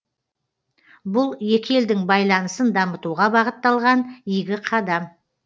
бұл екі елдің байланысын дамытуға бағытталған игі қадам